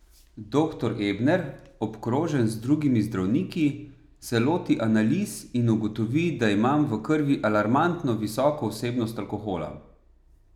Doktor Ebner, obkrožen z drugimi zdravniki, se loti analiz in ugotovi, da imam v krvi alarmantno visoko vsebnost alkohola.